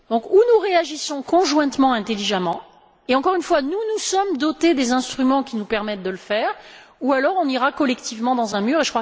Ou nous réagissons conjointement et intelligemment et, je le répète, nous nous sommes dotés des instruments qui nous permettent de le faire ou alors, nous irons collectivement dans un mur.